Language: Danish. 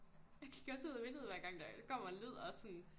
Jeg kigger også ud af vinduet hver gang der kommer en lyd og sådan